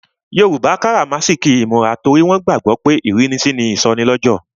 Yoruba karamasiki imura torí wọn gbàgbó pé ìrínisí ni ìsọnilọ́jọ̀.